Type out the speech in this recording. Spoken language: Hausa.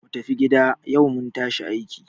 Ku tafi gida! yau mun tashi a aiki.